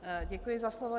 Děkuji za slovo.